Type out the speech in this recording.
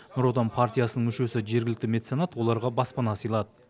нұр отан партиясының мүшесі жергілікті меценат оларға баспана сыйлады